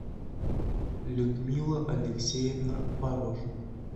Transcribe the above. людмила алексеевна порошина